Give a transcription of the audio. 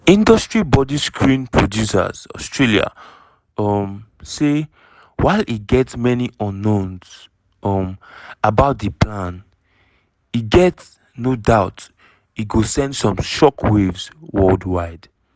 industry body screen producers australia um say while e get "many unknowns" um about di plan e get "no doubt e go send shock waves worldwide".